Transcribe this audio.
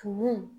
Tumu